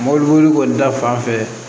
Mɔbili boli kɔni ta fan fɛ